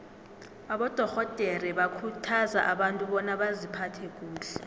abadorhodere bakhuthaza abantu bona baziphathe kuhle